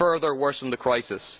It will further worsen the crisis.